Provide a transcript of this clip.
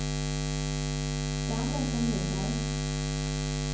Skam den som ger sig.